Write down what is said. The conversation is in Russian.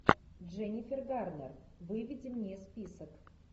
дженнифер гарнер выведи мне список